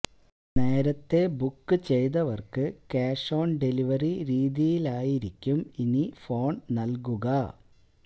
നേരത്തെ ബുക്ക് ചെയ്തവര്ക്ക് cash on delivery രീതിയിലായിരിക്കും ഇനി ഫോണ് നല്കുക